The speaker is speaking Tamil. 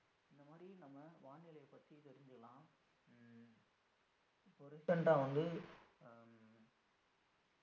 இந்த மாரி நம்ம வானிலையைப் பத்தி தெரிஞ்சுக்கலாம் உம் இப்ப recent ஆ வந்து அஹ்